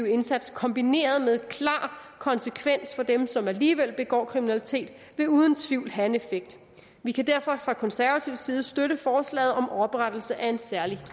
indsats kombineret med klar konsekvens for dem som alligevel begår kriminalitet vil uden tvivl have en effekt vi kan derfor fra konservativ side støtte forslaget om oprettelse af en særlig